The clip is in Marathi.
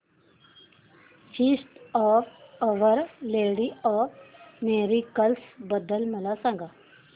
feast of our lady of miracles बद्दल मला सांगा